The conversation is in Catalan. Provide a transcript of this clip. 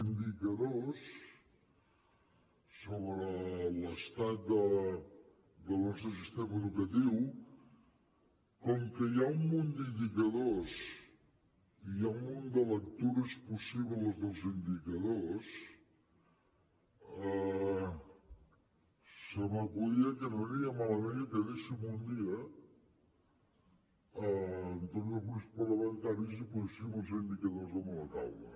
indicadors sobre l’estat del nostre sistema educatiu com que hi ha un munt d’indicadors i hi ha un munt de lectures possibles dels indicadors se m’acudia que no aniria malament que quedéssim un dia amb tots els grups parlamentaris i poséssim els indicadors damunt a taula